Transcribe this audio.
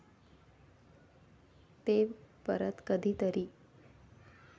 ते परत कधीतरी.